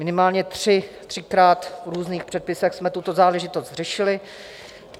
Minimálně třikrát v různých předpisech jsme tuto záležitost řešili.